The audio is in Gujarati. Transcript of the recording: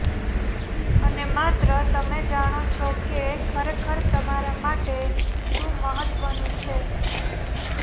અને માત્ર તમે જાણો છો કે ખરેખર તમારા માટે શું મહત્વનું છે